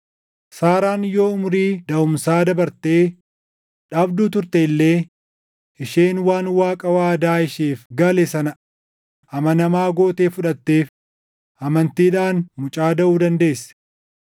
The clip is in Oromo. Saaraan yoo umurii daʼumsaa dabartee, dhabduu turte illee isheen waan Waaqa waadaa isheef gale sana amanamaa gootee fudhatteef, amantiidhaan mucaa daʼu dandeesse.